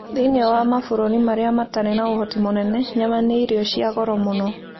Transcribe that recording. Thĩinĩ wa mabũrũri marĩa matarĩ na ũhoti mũnene, nyama nĩ irio cia goro mũno.